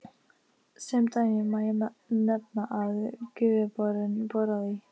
Sem dæmi má nefna að þegar Gufuborinn boraði í